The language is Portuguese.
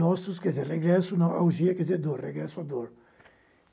Nostos, quer dizer, regresso, augia, quer dizer dor, regresso à dor.